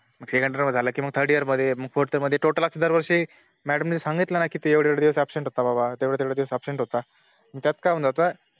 Second year झालं कि Third year मध्ये Fourth year मध्ये Total असं दरवर्षी Madam नि सांगितलं ना कि तू एवढे एवढे दिवस Abcent होता बाबा तेवढे तेवढे दिवस Abcent होता तमग त्यात काय होऊन जात